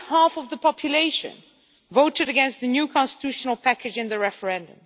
At least half of the population voted against the new constitutional package in the referendum.